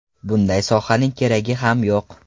Bunday sohaning keragi ham yo‘q.